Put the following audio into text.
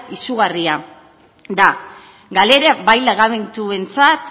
izugarria da galera bai langabetuentzat